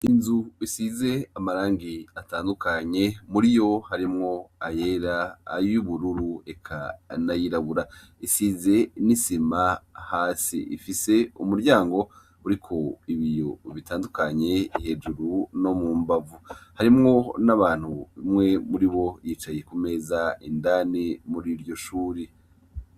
Inzu isize amabara atandukanye muriyo harimwo ayera ayubururu eka n'ayirabura risize n'isima hasi ifise umuryango uriko ibiyo bitandukanye hejuru no mumbavu harimwo n'abantu umwe muribo yicaye kumeza indani muriryo shure.